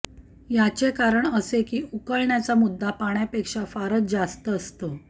याचे कारण असे की उकळण्याचा मुद्दा पाण्यापेक्षा फारच जास्त असतो